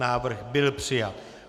Návrh byl přijat.